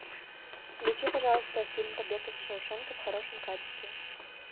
включи пожалуйста фильм побег из шоушенка в хорошем качестве